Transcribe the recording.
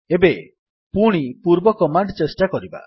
ଏବେ ପୁଣି ପୂର୍ବ କମାଣ୍ଡ୍ ଚେଷ୍ଟା କରିବା